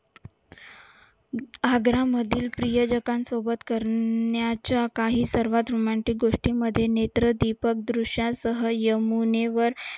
आग्रा मधील प्रियजकांसोबत करण्याच्या काही सर्वात romantic गोष्टींमध्ये नेत्र दीपक दृश्यांसोबत यमुनेवर